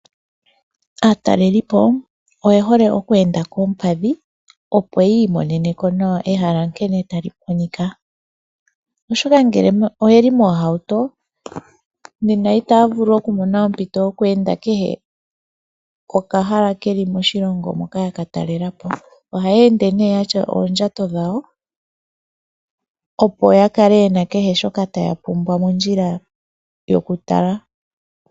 Aatalelipo oyehole okweenda koompadhi opo yiimoneneko nawa ehala nkene tali monika. Oshoka ngele oyeli mohauto nena itaya vuku okumona ompito yo ku enda kehe okahal keli moshilongo hoka yaka talelapo. Ohaya ende nee ya tya oondjato dhawo opo ya kale yena kehe shoka taya pumbwa mondjila yokutala .